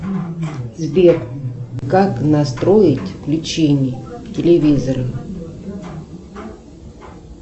сбер как настроить включение телевизора